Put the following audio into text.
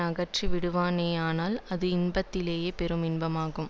அகற்றி விடுவானேயானால் அது இன்பத்திலேயே பெரும் இன்பமாகும்